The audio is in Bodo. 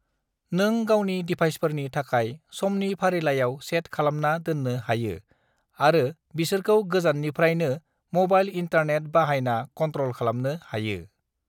नों गावनि दिभाइसफोरनि थाखाय समनि फारिलाइलाय सेट खालामना दोन्नो हायो आरो बिसोरखौ गोजाननिफ्रायनो मबाइल इन्टानेट बाहायना कन्ट्रल खालामनो हायोI